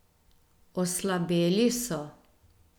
Oslabeli so.